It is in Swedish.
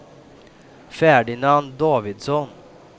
Ferdinand Davidsson